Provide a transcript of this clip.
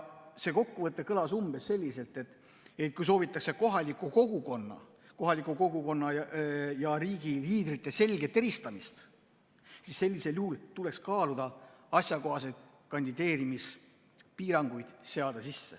See kokkuvõte kõlas umbes selliselt, et kui soovitakse kohaliku kogukonna ja riigi liidrite selget eristamist, siis sellisel juhul tuleks kaaluda asjakohaseid kandideerimispiiranguid.